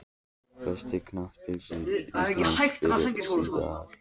Besti knattspyrnumaður íslands fyrr og síðar?